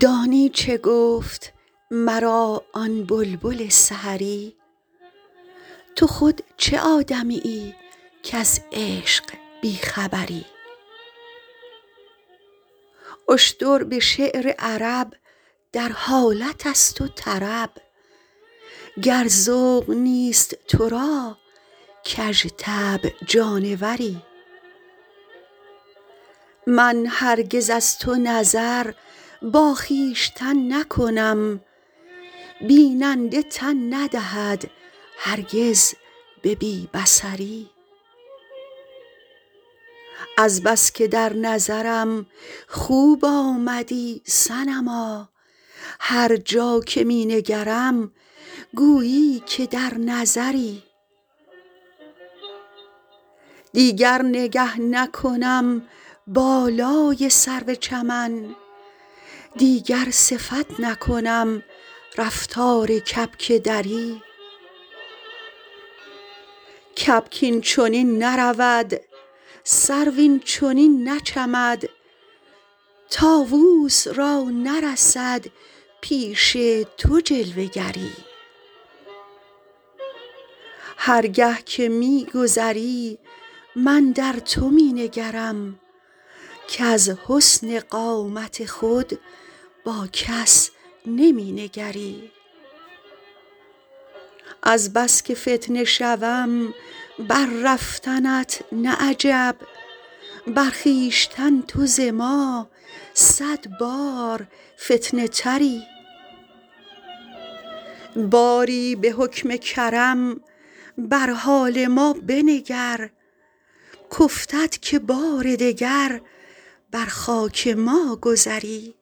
دانی چه گفت مرا آن بلبل سحری تو خود چه آدمیی کز عشق بی خبری اشتر به شعر عرب در حالت است و طرب گر ذوق نیست تو را کژطبع جانوری من هرگز از تو نظر با خویشتن نکنم بیننده تن ندهد هرگز به بی بصری از بس که در نظرم خوب آمدی صنما هر جا که می نگرم گویی که در نظری دیگر نگه نکنم بالای سرو چمن دیگر صفت نکنم رفتار کبک دری کبک این چنین نرود سرو این چنین نچمد طاووس را نرسد پیش تو جلوه گری هر گه که می گذری من در تو می نگرم کز حسن قامت خود با کس نمی نگری از بس که فتنه شوم بر رفتنت نه عجب بر خویشتن تو ز ما صد بار فتنه تری باری به حکم کرم بر حال ما بنگر کافتد که بار دگر بر خاک ما گذری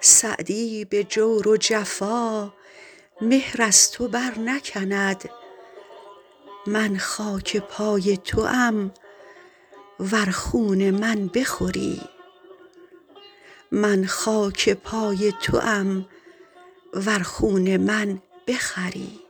سعدی به جور و جفا مهر از تو برنکند من خاک پای توام ور خون من بخوری